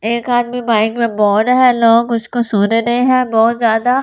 एक आदमी बाइक पे बोर्ड है लोग उसको सोने नहीं है बहुत ज्यादा।